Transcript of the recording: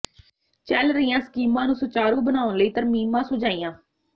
ਚਲ ਰਹੀਆਂ ਸਕੀਮਾਂ ਨੂੰ ਸੁਚਾਰੂ ਬਣਾਉਣ ਲਈ ਤਰਮੀਮਾਂ ਸੁਝਾਈਆਂ